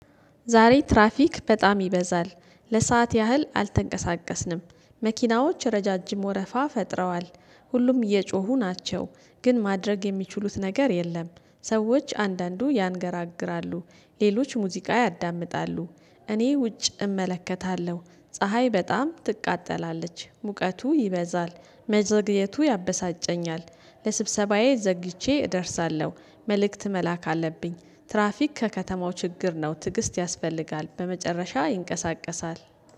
ዛሬ ትራፊክ በጣም ይበዛል። ለሰአት ያህል አልተንቀሳቀስንም መኪናዎች ረዣዥም ወረፋ ፈጥረዋል። ሁሉም እየጮሁ ናቸው ግን ማድረግ የሚችሉት ነገር የለም። ሰዎች አንዳንዱ ያንገራግራሉ ሌሎች ሙዚቃ ያዳምጣሉ። እኔ ውጭ እመለከታለሁ ፀሀይ በጣም ትቃጠላለች፣ ሙቀቱ ይበዛል፣ መዘግየቱ ያበሳጨኛል፣ ለስብሰባዬ ዘግይቼ እደርሳለሁ። መልእክት መላክ አለብኝ ትራፊክ ከከተማው ችግር ነው ትግስት ያስፈልጋል በመጨረሻ ይንቀሳቀሳል።